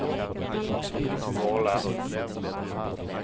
Våler